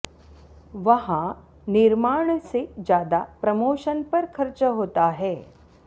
वहां निर्माण से ज्यादा प्रमोशन पर खर्च होता है